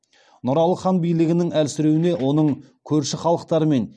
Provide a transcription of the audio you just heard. нұралы хан билігінің әлсіреуіне оның көрші халықтармен